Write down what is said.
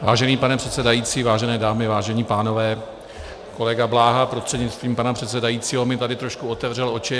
Vážený pane předsedající, vážené dámy, vážení pánové, kolega Bláha prostřednictvím pana předsedajícího mi tady trošku otevřel oči.